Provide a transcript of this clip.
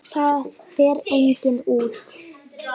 Það fer enginn út!